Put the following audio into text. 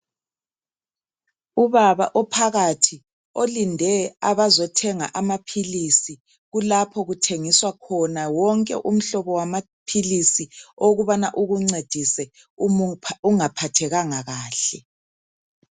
Ubaba ophakathi, olinde abazothenga amaphilisi kulapho okuthengiswa khona wonke umhlobo wamaphilisi owokubana ukuncedise uma ungaphathekanga kahle.